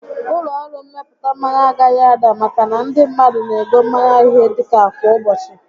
Ụlọ ọrụ mmepụta mmanya agaghị ada maka na ndị mmadụ n'ego mmanya ihe dịka kwa ụbọchị